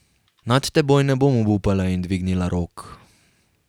Nad teboj ne bom obupala in dvignila rok.